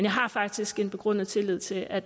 har faktisk en begrundet tillid til at